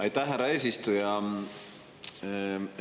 Aitäh, härra eesistuja!